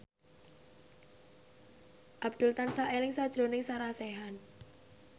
Abdul tansah eling sakjroning Sarah Sechan